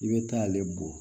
I bɛ taa ale bɔ